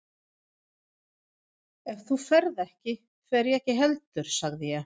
Ef þú ferð ekki, fer ég ekki heldur sagði ég.